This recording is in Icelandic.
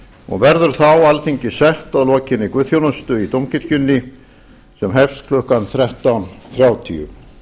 og verður þá alþingi sett að lokinni guðsþjónustu í dómkirkjunni sem hefst klukkan þrettán þrjátíu